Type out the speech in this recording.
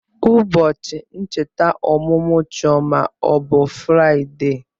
Ụbọchị ncheta ọmụmụ Chioma ọ bụ Fraịdee?